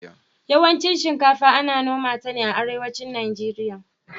yawancin shinkafa Ana noma ta ne a arewacin nigeria